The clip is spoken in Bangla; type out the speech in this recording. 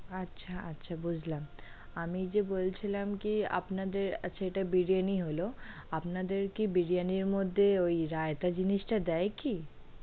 আচ্ছা আচ্ছা বুঝলাম, আমি যে বলছিলাম কি আপনাদের আচ্ছা এটা বিরিয়ানি হলো, আপনাদের কি বিরিয়ানির মধ্যে ওই রায়তা জিনিস টা দেয় কি?